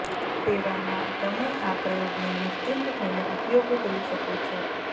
તેવા માં તમે આ પ્રયોગ ને નિશ્ચિંત થઈને ઉપયોગ કરી શકો છો